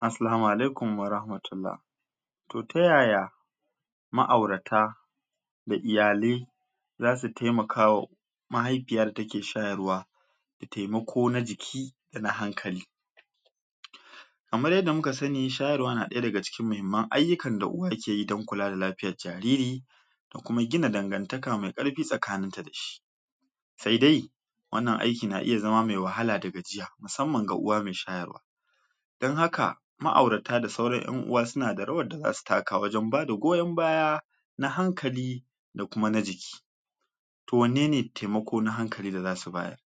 Assalamu'alaikum wa rahmatullah Toh ta yaya ma aurata da iyale za su taimakawa ma haifiyar da ta ke shayarwa da taimako na jiki da na hankali kamar yadda mu ka sani, shayarwa na daya da ga cikin mahimmar ayukan da uwa ke yi don kuka da lafiyar jariri da kuma gina dangantaka mai karfi tsakanin ta da shi sai dai wannan aiki na iya zama mai wahala da gajiya musamman ga uwa mai shayarwa dan haka, ma aurata da sauran en uwa su na da rawar da za su taka wajen ba da goyon baya na hankali da kuma na jiki toh wanene taimako na hankali da zasu bayar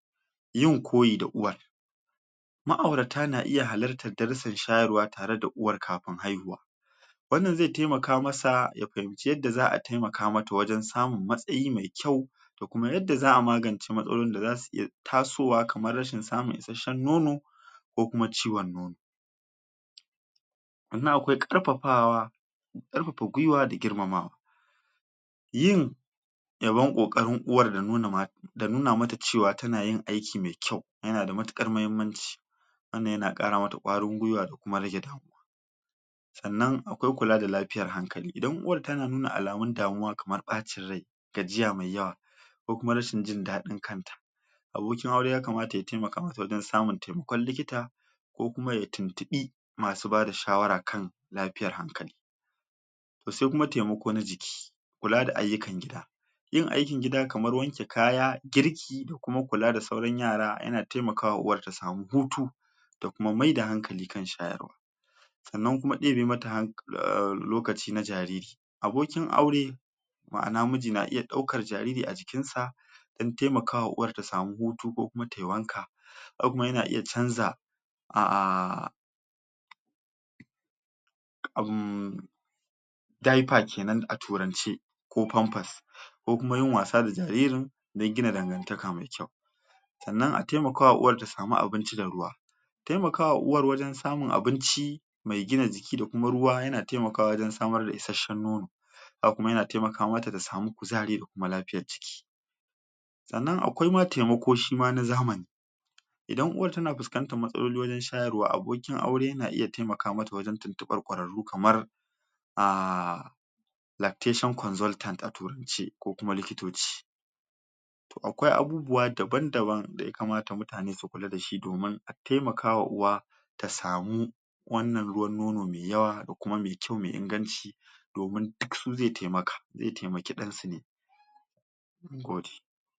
yin koyi da uwa ma aurata na iya halatar darasan shayarwa tare da uwar kafun haihuwa wannan zai taimaka masa ya fahimci yadda za a taimaka mata wajen samun matsayi mai kyau da kuma yadda za'a magance matsoron da za su iya tasowa kamar rashin samun isheshen nono ko kuma ciwon nono tsannan akwai karfafawa karfafa gwiwa da girmamawa yin yabon kokarin uwar da nuna da nuna mata cewa ta na yin aiki mai kyau ya na da matukar mahimmanci tsannan ya na kara mata kwarin gwiwa da kuma rage damuwa tsannan akwai kula da lafiyar hankali. Idan uwar ta na nuna alamun damuwa kamar baccin rai, gajiya mai yawa ko kuma rashin jin dadin kanta abokin aure ya kamata ya taimaka mata wajen samun taimakon likita ko kuma ya tuntunbi masu bada shawara kan lafiyar hankali Toh sai kuma taimako na jiki, kula da ayukan gida yin aikin gida kamar wanke kaya, girki da kuma kula da sauran yara ya na taimakawa uwar ta samu hutu ta kuma mai da hankali kan shayarwa. Tsannan kuma debe ma ta lokaci na jariri abokin aure ma'ana miji na iya daukar jariri a jikin sa din taimakawa uwar ta samu hutu ko kuma ta yi wanka. ya na iya canza a umm diaper kenan a turance, ko pampers ko kuma yin wasa da jaririn, dan gina dangantaka mai kyau tsannan a taimakawa uwar ta samu abinci da ruwa taimakawa uwar wajen samun abinci mai gina jiki da kuma ruwa ya na taimakawa wajen samar da isheshen nono. Haka kuma ya na taimaka ma ta da samu kuzari da kuma lafiyar jiki. tsannan akwai kuma taimako kuma na zamani idan uwar ta na fiskantan matsaloli wajen shayarwa wa abokin aure na iya taimaka ma ta wajen tuntunɓa kwararu kamar ah lactation consultant a turance ko kuma likitoci. Toh akwai abubuwa daban-daban da ya kamata mutane su kula da shi domin a taimaka wa uwa ta samu wannan ruwan nono mai yawa da kuma mai kyau mai inganci domin duk su ze taimaka, ze taimaki dan su ne, mungode.